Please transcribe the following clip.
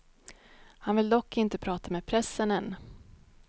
Han vill dock inte prata med pressen än.